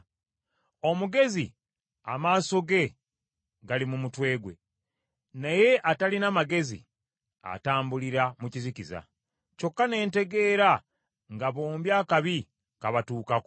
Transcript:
Omugezi amaaso ge gali mu mutwe gwe, naye atalina magezi atambulira mu kizikiza. Kyokka ne ntegeera nga bombi akabi kabatuukako.